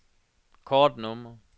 kortnummer